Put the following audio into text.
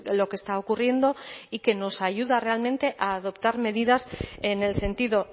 lo que está ocurriendo y que nos ayuda realmente a adoptar medidas en el sentido